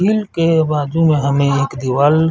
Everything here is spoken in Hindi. झील के बाजु में हमें एक दीवाल --